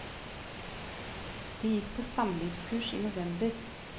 De gikk på samlivskurs i november.